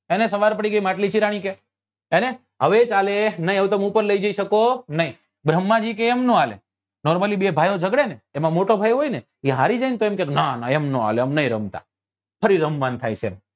હેને સવાર પડી ગઈ માટલી ચિરાણી કે હેને હવે કાલે નહિ તમે હવે ઉપર લઇ જી શકો નહિ ભ્રમ્હાં જી કે એમ નહિ હાલે normaly બે ભાઈઓ જગડે ને એમાં મોટો ભાઈ હારી જાય ને તો કે નાં ના એમ નહિ હાલે અમે નહિ રમતા ફરી રમવા નું થાય છે